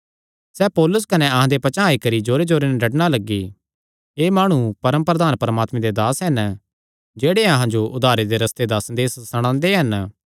सैह़ पौलुस कने अहां दे पचांह़ आई करी जोरे नैं डड्डणा लग्गी एह़ माणु परम प्रधान परमात्मे दे दास हन जेह्ड़े अहां जो उद्धारे दे रस्ते दा संदेस सणांदे हन